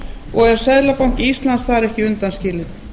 og er seðlabanki íslands þar ekki undan skilinn